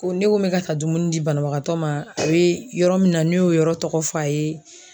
Ko ne ko n be ka taa dumuni di banabagatɔ ma . A be yɔrɔ min na ne y'o yɔrɔ tɔgɔ fɔ a ye.